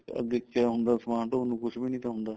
ਅੱਗੇ ਕਿਆ ਹੁੰਦਾ ਸਮਾਨ ਢੋਣ ਨੂੰ ਕੁੱਛ ਵੀ ਨਾ ਤਾਂ ਹੁੰਦਾ